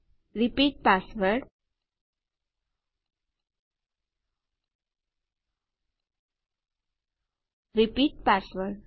repeat password repeat password